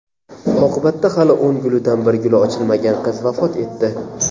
Oqibatda hali o‘n gulidan bir guli ochilmagan qiz vafot etdi.